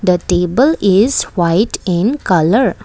the table is white in colour.